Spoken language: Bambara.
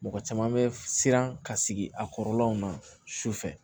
Mɔgɔ caman bɛ siran ka sigi a kɔrɔlaw na sufɛ